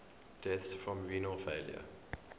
deaths from renal failure